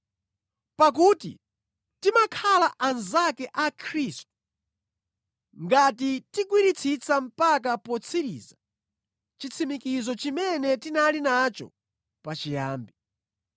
Pakuti timakhala anzake a Khristu, ngati tigwiritsitsa mpaka potsiriza chitsimikizo chimene tinali nacho pachiyambi.